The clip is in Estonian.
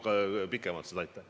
Sa nägid seda pikemalt pealt.